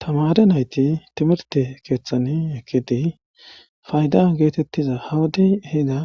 tama are nayti timirte keeththani ekidiy faydan geetettiza hawudey hida